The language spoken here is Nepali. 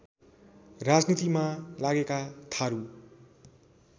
राजनीतिमा लागेका थारु